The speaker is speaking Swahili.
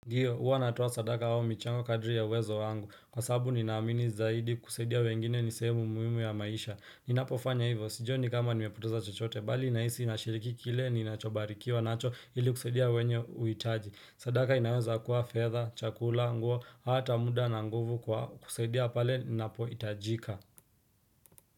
Ndiyo uwa natoa sadaka au michango kadri ya uwezo wangu kwa sababu ninaamini zaidi kusaidia wengine ni sehemu muhimu ya maisha Ninapo fanya hivo sijioni ni kama nimepoteza chochote bali nahisi nashiriki kile ninachobarikiwa nacho ili kusaidia wenye huitaji sadaka inaweza kuwa fedha, chakula, nguo, hata muda na nguvu kwa kusaidia pale inapo itajika.